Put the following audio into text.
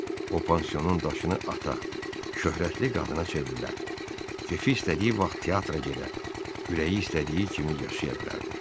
O pansionun daşını ata, şöhrətli qadına çevrilə, kef istədiyi vaxt teatra gedə, ürəyi istədiyi kimi yaşaya bilərdi.